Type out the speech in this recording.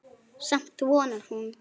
Samt vonar hún.